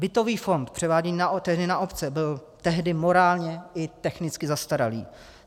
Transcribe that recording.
Bytový fond, převáděný tehdy na obce, byl tehdy morálně i technicky zastaralý.